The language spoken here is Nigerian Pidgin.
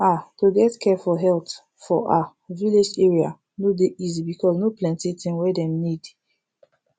ah to get care for health for ah village area no dey easy because no plenti thing wey dem need